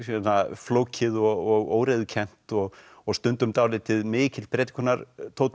flókið og óreiðukennt og og stundum dálítið mikill